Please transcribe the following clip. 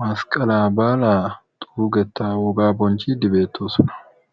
masqqalaa baalaa xuugettaa wogaa bonchchiiddi beettoosona.